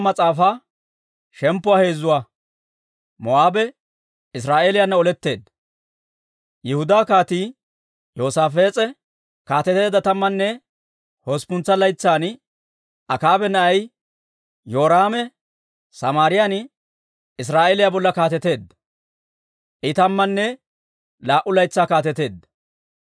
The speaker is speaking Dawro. Yihudaa Kaatii Yoosaafees'e kaateteedda tammanne hosppuntsa laytsan Akaaba na'ay Yoraame Samaariyaan Israa'eeliyaa bolla kaateteedda; I tammanne laa"u laytsaa kaateteedda.